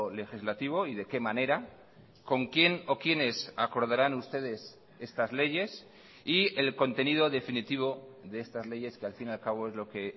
legislativo y de qué manera con quién o quiénes acordarán ustedes estas leyes y el contenido definitivo de estas leyes que al fin y al cabo es lo que